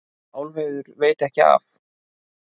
Álfheiður veit ekki af